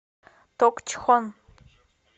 токчхон